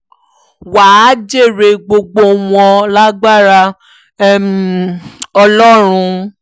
wà á jèrè gbogbo wọn lágbára um ọlọ́run